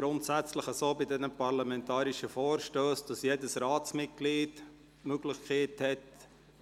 Grundsätzlich ist es bei den parlamentarischen Vorstössen so, dass jedes Ratsmitglied die Möglichkeit hat,